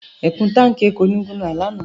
Ẹ̀kún táǹkì epo ni mo ra lánàá.